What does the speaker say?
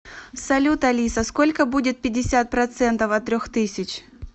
салют алиса сколько будет пятьдесят процентов от трех тысяч